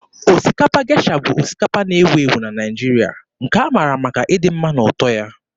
Osikapa Gesha bụ osikapa na-ewu ewu na Naịjirịa, nke a mara maka ịdị mma na ụtọ ya.